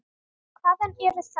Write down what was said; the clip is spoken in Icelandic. Hvaðan eru þær.